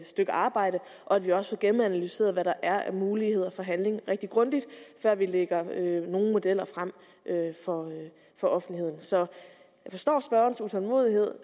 stykke arbejde og at vi også får gennemanalyseret hvad der er af muligheder for handling rigtig grundigt før vi lægger nogle modeller frem for offentligheden så jeg forstår spørgerens utålmodighed